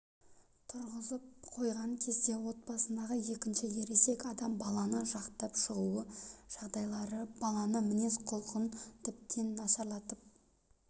тырғызып қоған кезде отбасындағы екінші ересек адам баланы жақтап шығу жағдайлары баланың мінез-құлқын тіптен нашарлатып